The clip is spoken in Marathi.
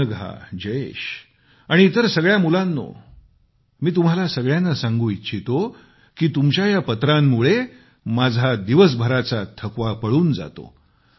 अनघा जयेश आणि इतर सगळ्या मुलांनो मी तुम्हा सगळ्यांना सांगू इच्छितो की तुमच्या या पत्रांमुळे माझा दिवसभराचा थकवा पळून जातो